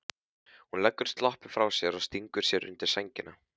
Hún leggur sloppinn frá sér og stingur sér undir sængina.